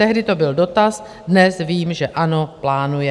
Tehdy to byl dotaz, dnes vím, že ano, plánuje.